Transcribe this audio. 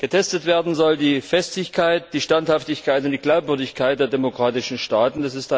Getestet werden sollen die Festigkeit, die Standhaftigkeit und die Glaubwürdigkeit der demokratischen Staaten.